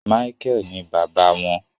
Micheal ní bàbá wọn